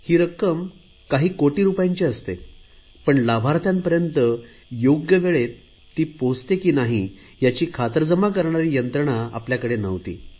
ही रक्कम कोटी रुपयांची असते पण लाभार्थ्यांपर्यंत योग्य वेळेत ती पोहोचली नाही याची खातरजमा करणारी यंत्रणा आपल्याकडे नव्हती